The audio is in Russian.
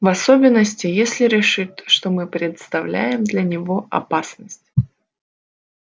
в особенности если решит что мы представляем для него опасность